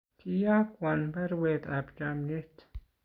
kiiyokwon baruetab chomyet.